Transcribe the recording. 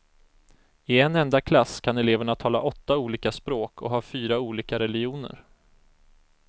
I en enda klass kan eleverna tala åtta olika språk, och ha fyra olika religioner.